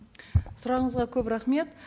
сұрағыңызға көп рахмет